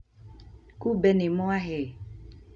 Kumbe nĩ mwahe